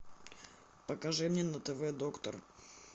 покажи мне на тв доктор